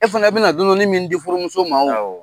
E fana bi na dɔɔni dɔɔni min di furumuso ma wo